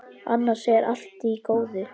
Annars er allt í góðu.